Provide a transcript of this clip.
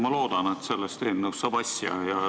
Ma loodan, et sellest eelnõust saab asja.